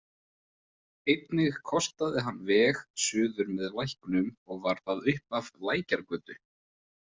Einnig kostaði hann veg suður með Læknum og var það upphaf Lækjargötu.